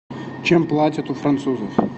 чем платят у французов